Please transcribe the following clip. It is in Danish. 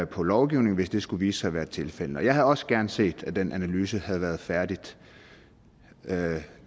på lovgivningen hvis det skulle vise sig at være tilfældet jeg havde også gerne set at den analyse havde været færdig